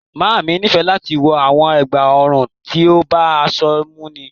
Máamì ní fẹ̀ láti wọ awọn ègbá-ọ̀run tí ó bá aṣọ múnnì